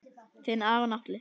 Þinn Aron Atli.